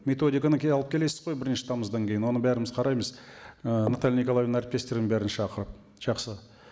методиканы алып келесіз ғой бірінші тамыздан кейін оны бәріміз қараймыз ы наталья николаевнаның әріптестерін бәрін шақырып жақсы